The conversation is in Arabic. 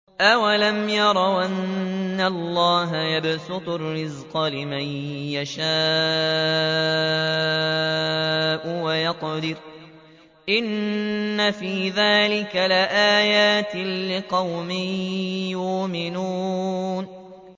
أَوَلَمْ يَرَوْا أَنَّ اللَّهَ يَبْسُطُ الرِّزْقَ لِمَن يَشَاءُ وَيَقْدِرُ ۚ إِنَّ فِي ذَٰلِكَ لَآيَاتٍ لِّقَوْمٍ يُؤْمِنُونَ